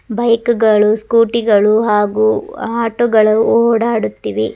Bike ಗಳು scooty ಗಳು ಹಾಗು ಆಟೋ ಗಳು ಓಡಾಡುತ್ತಿವೆ.